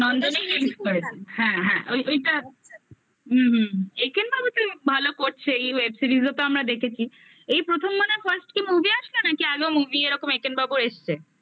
নন্দনে release করেছে হ্যাঁ হ্যাঁ হ্যা ওই ওইটা হুম হুম এঁকেন বাবু তো ভালো করছে এই web series ও তো আমরা দেখেছি এই প্রথমবারের first কি movie আসবে নাকি আগেও movie এরকম একেন বাবুর এসছে?